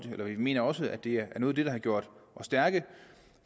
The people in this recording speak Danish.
vi mener også at det er noget af det der har gjort os stærke